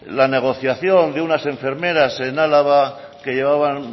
la negociación de unas enfermeras en álava que llevaban